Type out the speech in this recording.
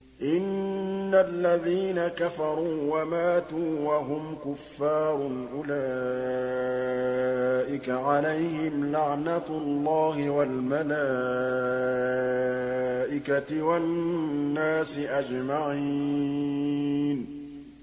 إِنَّ الَّذِينَ كَفَرُوا وَمَاتُوا وَهُمْ كُفَّارٌ أُولَٰئِكَ عَلَيْهِمْ لَعْنَةُ اللَّهِ وَالْمَلَائِكَةِ وَالنَّاسِ أَجْمَعِينَ